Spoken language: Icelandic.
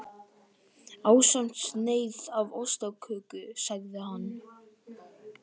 Ásamt sneið af ostaköku sagði hann.